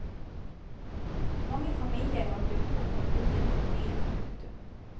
Mange familier har brutt opp og flyttet til byen. punktum